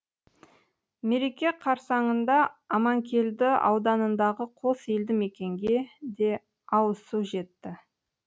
мереке қарсаңында аманкелді ауданындағы қос елді мекенге де ауызсу жетті